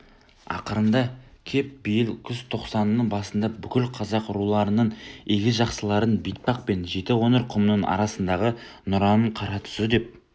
ақырында кеп биыл күзтоқсанның басында бүкіл қазақ руларының игі жақсыларын бетпақ пен жетіқоңыр құмының арасындағы нұраның қаратұзы деп